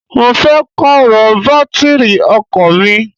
Mo fẹ́ Pààrọ̀ bátìrì ọkọ̀ mi